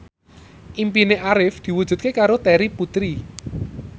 impine Arif diwujudke karo Terry Putri